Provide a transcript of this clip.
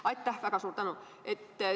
Aitäh, väga suur tänu!